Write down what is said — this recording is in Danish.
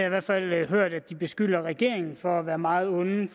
i hvert fald hørt at de beskylder regeringen for at være meget onde i